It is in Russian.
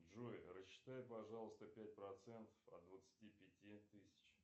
джой рассчитай пожалуйста пять процентов от двадцати пяти тысяч